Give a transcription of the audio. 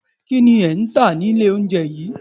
Kínni ẹ ntà nílé oúnjẹ yìí?